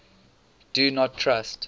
do not trust